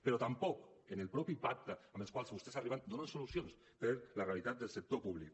però tampoc en els mateixos pactes als quals vostès arriben donen solucions per a la realitat del sector públic